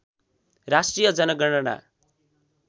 राष्ट्रिय जनगणना